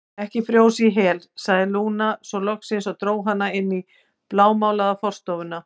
Ekki frjósa í hel, sagði Lúna svo loksins og dró hana inn í blámálaða forstofuna.